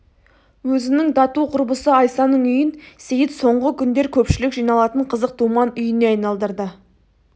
өзінің тату құрбысы айсаның үйін сейіт соңғы күндер көпшілік жиналатын қызық думан үйіне айналдырды